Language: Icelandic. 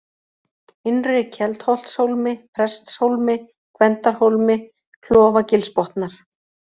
Innri-Keldholtshólmi, Prestshólmi, Gvendarhólmi, Klofagilsbotnar